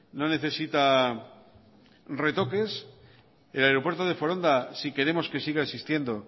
no necesita retoques el aeropuerto de foronda si queremos que siga existiendo